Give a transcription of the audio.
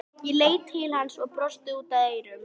Hefði Pétur Péturs nýtt færin þá hefðuð þið unnið leikinn?